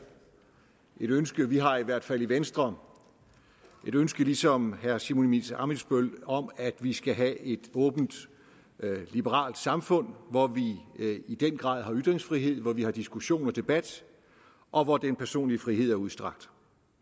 et ønske om vi har i hvert fald i venstre et ønske ligesom herre simon emil ammitzbøll om at vi skal have et åbent liberalt samfund hvor vi i den grad har ytringsfrihed hvor vi har diskussion og debat og hvor den personlige frihed er udstrakt